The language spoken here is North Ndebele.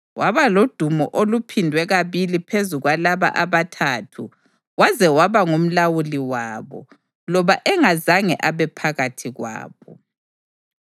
Waba lodumo oluphindwe kabili phezu kwalaba abaThathu waze waba ngumlawuli wabo, loba engazange abe phakathi kwabo.